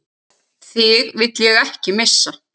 Þig vil ég ekki missa.